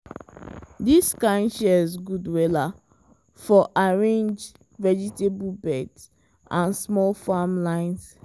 this kind shears good wella for arrange vegetable beds and small farm lines.